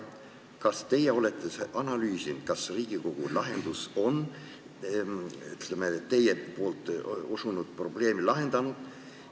Kas te olete analüüsinud, kas Riigikogu lahendus on teie osutatud probleemi lahendanud?